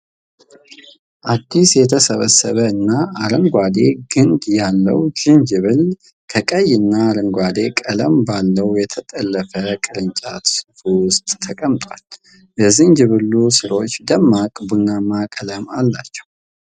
አዲስ የተሰበሰበ እና አረንጓዴ ግንድ ያለው ዝንጅብል፣ ከቀይ እና አረንጓዴ ቀለም ባለው የተጠለፈ ቅርጫት ውስጥ ተቀምጧል። የዝንጅብሉ ሥሮች ደማቅ ቡናማ ቀለም አላቸው።